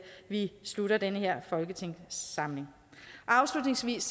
vi slutter den her folketingssamling afslutningsvis